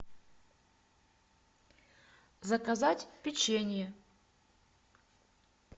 заказать печенье